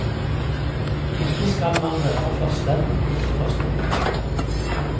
Ikke skal man være for slem, ikke for snill.